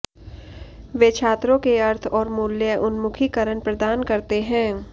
वे छात्रों के अर्थ और मूल्य उन्मुखीकरण प्रदान करते हैं